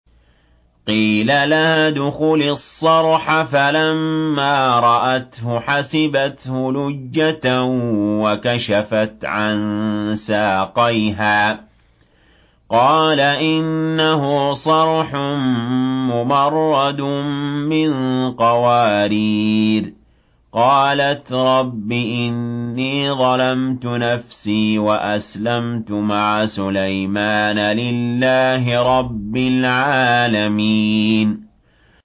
قِيلَ لَهَا ادْخُلِي الصَّرْحَ ۖ فَلَمَّا رَأَتْهُ حَسِبَتْهُ لُجَّةً وَكَشَفَتْ عَن سَاقَيْهَا ۚ قَالَ إِنَّهُ صَرْحٌ مُّمَرَّدٌ مِّن قَوَارِيرَ ۗ قَالَتْ رَبِّ إِنِّي ظَلَمْتُ نَفْسِي وَأَسْلَمْتُ مَعَ سُلَيْمَانَ لِلَّهِ رَبِّ الْعَالَمِينَ